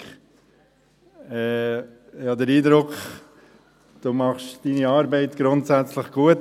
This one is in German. Patrick Freudiger, ich habe den Eindruck, Sie machen Ihre Arbeit grundsätzlich gut.